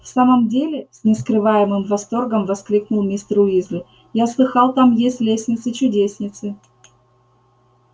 в самом деле с нескрываемым восторгом воскликнул мистер уизли я слыхал там есть лестницы-чудесницы